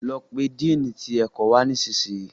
lọ pé Dínni tí ẹkọ wá nísìsiyìí.